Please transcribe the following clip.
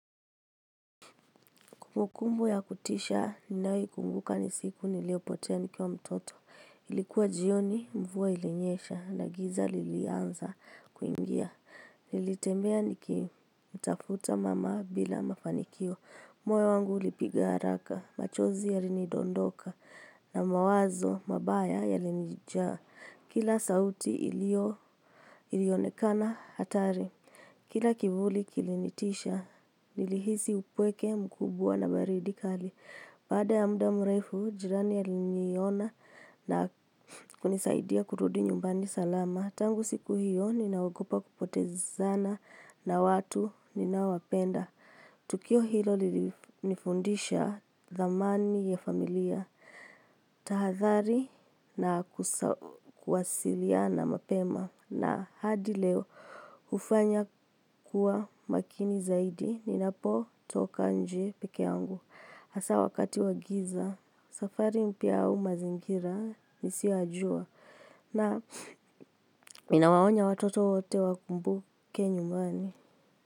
Kumukumbu ya kutisha, ninawo kumbuka ni siku niliopotea nikiwa mtoto. Ilikuwa jioni, mvuwa ilenyesha, na giza lilianza kuingia. Nilitembea niki mtafuta mama bila mafanikio. Moyo wangu ulipiga haraka, machozi yalini dondoka, na mawazo mabaya yalini jaa. Kila sauti ilio ilionekana hatari. Kila kivuli kilinitisha, nilihizi upweke mkubwa na baridi kali. Pada ya muda mrefu, jirani aliniyiona na kunisaidia kurudi nyumbani salama. Tangu siku hiyo, ninawagopa kupotezana na watu ninaowapenda. Tukio hilo nifundisha thamani ya familia, tahathari na kwasiliana mapema. Na hadi leo hufanya kuwa makini zaidi ninapotoka nje peke yangu. Asa wakati wagiza, safari mpia au mazingira nisiowajua. Na minawaonya watoto wote wakumbuke nyumbani.